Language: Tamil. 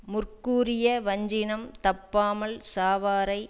முற்கூறிய வஞ்சினம் தப்பாமல் சாவாரை